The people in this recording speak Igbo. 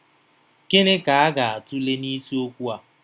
Gịnị ka a ga-atụle n’isiokwu a?